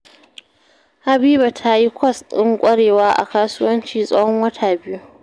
Habiba ta yi kwas ɗin ƙwarewa a kasuwanci tsahon wata biyu